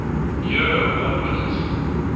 year award winners